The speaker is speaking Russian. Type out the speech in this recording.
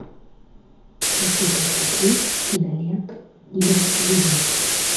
хочу посмотреть киноленту не брать живым